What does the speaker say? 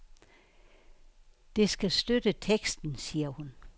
Det skal støtte teksten, siger hun.